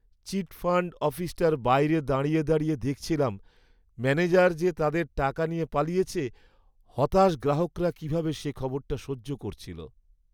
চিটফাণ্ড অফিসটার বাইরে দাঁড়িয়ে দাঁড়িয়ে দেখছিলাম, ম্যানেজার যে তাদের টাকা নিয়ে পালিয়েছে, হতাশ গ্রাহকরা কীভাবে সে খবরটা সহ্য করছিল!